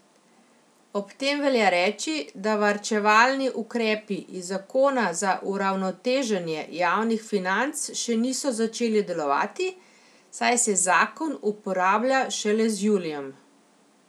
Ob tem velja reči, da varčevalni ukrepi iz zakona za uravnoteženje javnih financ še niso začeli delovati, saj se zakon uporablja šele z julijem.